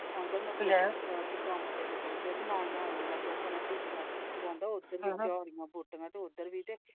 ਕੰਮ ਤੇ ਚੱਲਾ ਗਿਆ ਚੱਲੇ ਗਿਆ ਮੈ ਆਉਣ ਲੱਗਾ ਆਉਣ ਲੱਗਿਆ।